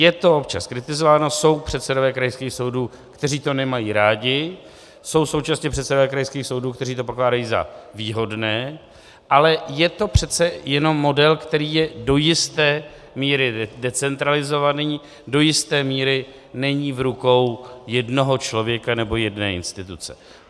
Je to občas kritizováno, jsou předsedové krajských soudů, kteří to nemají rádi, jsou současně předsedové krajských soudů, kteří to pokládají za výhodné, ale je to přece jenom model, který je do jisté míry decentralizovaný, do jisté míry není v rukou jednoho člověka nebo jedné instituce.